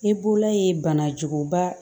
I bolola ye bana juguba